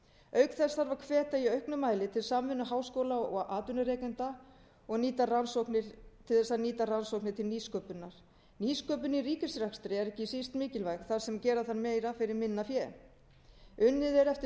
auk þessa hvet ég í auknum mæli til samvinnu háskóla og atvinnurekenda til að nýta rannsóknir til nýsköpunar nýsköpun í ríkisrekstri er ekki síst mikilvæg þar sem gera þarf meira fyrir minna fé unnið er eftir stöðugleika